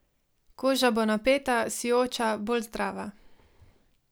Koža bo napeta, sijoča, bolj zdrava.